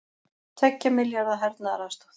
Tveggja milljarða hernaðaraðstoð